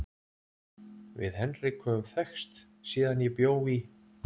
Við Henrik höfum þekkst síðan ég bjó í